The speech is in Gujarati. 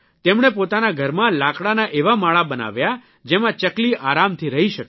તેમણે પોતાના ઘરમાં લાકડાના એવા માળા બનાવ્યા જેમાં ચકલી આરામથી રહી શકે